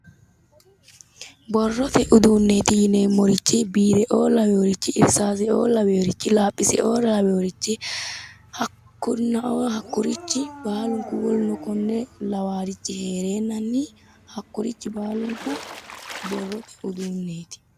Borrote uduuneeti yineemoti bireoo lawinor laphiseoo laweorichi hakkunaoo hakkurichi hakkurichi baalunikku woluno konne lawaarichi heerenanni hakkurichi baalunikku borrote uduuneeti